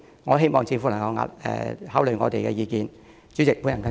我希望政府能考慮我們的意見。